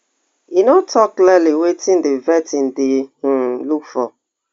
e no tok clearly wetin di vetting dey um look for